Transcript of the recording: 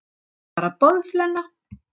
Þú ert bara boðflenna.